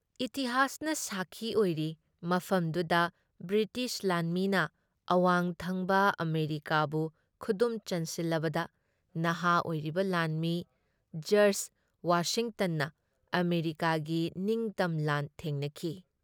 ꯏꯇꯤꯍꯥꯁꯅ ꯁꯥꯈꯤ ꯑꯣꯏꯔꯤ ꯃꯐꯝꯗꯨꯗ ꯕ꯭ꯔꯤꯇꯤꯁ ꯂꯥꯟꯃꯤꯅ ꯑꯋꯥꯡꯊꯪꯕ ꯑꯃꯦꯔꯤꯀꯥꯕꯨ ꯈꯨꯗꯨꯝ ꯆꯟꯁꯤꯜꯂꯕꯗ ꯅꯍꯥ ꯑꯣꯏꯔꯤꯕ ꯂꯥꯟꯃꯤ ꯖꯔꯖ ꯋꯥꯁꯤꯡꯇꯟꯅ ꯑꯃꯦꯔꯤꯀꯥꯒꯤ ꯅꯤꯡꯇꯝ ꯂꯥꯟ ꯊꯦꯡꯅꯈꯤ ꯫